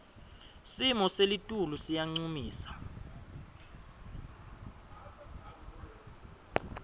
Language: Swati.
simo selitulu siyancumisa